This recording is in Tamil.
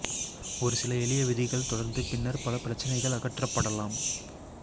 ஒரு சில எளிய விதிகள் தொடர்ந்து பின்னர் பல பிரச்சினைகள் அகற்றப்படலாம்